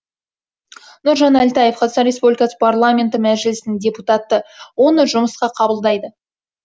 нұржан әлтаев қр парламенті мәжілісінің депутаты оны жұмысқа қабылдайды